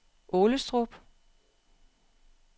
Aalestrup